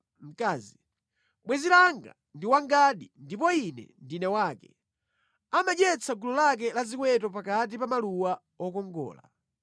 Bwenzi langa ndi wangadi ndipo ine ndine wake; amadyetsa gulu lake la ziweto pakati pa maluwa okongola.